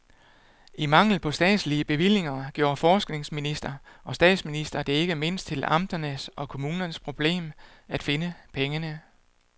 I mangel på statslige bevillinger gjorde forskningsminister og statsminister det ikke mindst til amternes og kommunernes problem at finde pengene.